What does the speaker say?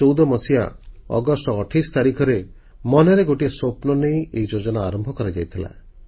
2014 ମସିହା ଅଗଷ୍ଟ 28 ତାରିଖରେ ମନରେ ଗୋଟିଏ ସ୍ୱପ୍ନନେଇ ଏହି ଯୋଜନା ଆରମ୍ଭ କରାଯାଇଥିଲା